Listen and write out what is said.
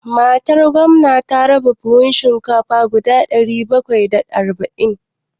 Matar gwamna ta raba buhun shinkafa guda ɗari bakwai da arba'in.